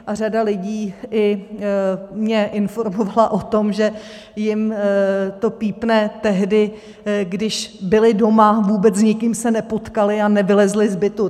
A řada lidí mě informovala i o tom, že jim to pípne tehdy, když byli doma, vůbec s nikým se nepotkali a nevylezli z bytu.